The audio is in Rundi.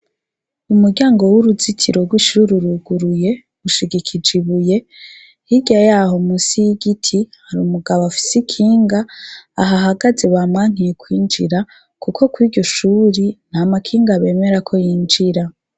Umuryango w'uruzitiro rw'ishure uruguruye rushigikije ibuye, hirya yaho munsi y'igiti hari umugabo afise ikinga aha hagaze bamwankiye kwinjira kuko iryo shuri ntamakinga bemerera ko yinjira.